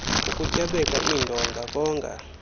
ukutyabeka iindonga konga